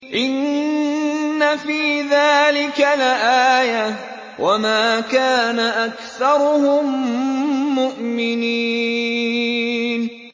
إِنَّ فِي ذَٰلِكَ لَآيَةً ۖ وَمَا كَانَ أَكْثَرُهُم مُّؤْمِنِينَ